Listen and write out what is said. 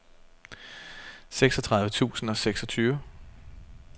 seksogtredive tusind og seksogtyve